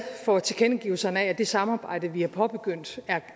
for tilkendegivelserne om at det samarbejde vi har påbegyndt